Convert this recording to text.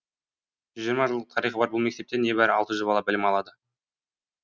жүз жиырма жылдық тарихы бар бұл мектепте небәрі алты жүз бала білім алады